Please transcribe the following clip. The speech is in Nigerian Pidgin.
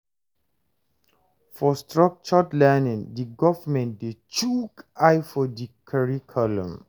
for structred learning di government dey chook eye for di curricullum